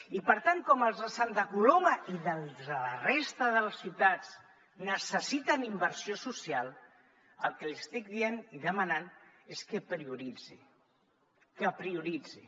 i per tant com els de santa coloma i els de la resta de ciutats necessiten inversió social el que li estic dient i demanant és que prioritzi que prioritzi